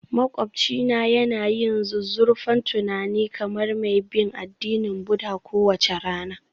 Maƙwabcina yana yin zuzzurfan tunani kamar mai bin addinin Buddha kowace rana